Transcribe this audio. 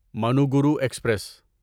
Manuguru express